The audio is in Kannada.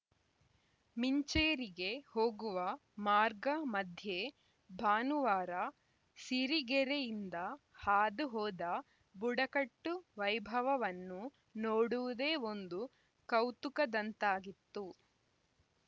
ಮಿಂಚೇರಿಗೆ ಹೋಗುವ ಮಾರ್ಗಮಧ್ಯೆ ಭಾನುವಾರ ಸಿರಿಗೆರೆಯಿಂದ ಹಾದು ಹೋದ ಬುಡಕಟ್ಟು ವೈಭವವನ್ನು ನೋಡುವುದೇ ಒಂದು ಕೌತುಕದಂತಾಗಿತ್ತು